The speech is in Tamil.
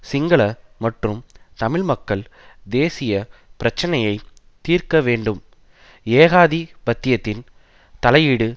சிங்கள மற்றும் தமிழ் மக்கள் தேசிய பிரச்சினையை தீர்க்க வேண்டும் ஏகாதி பத்தியத்தின் தலையீடு